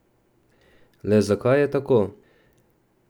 Le zakaj je tako?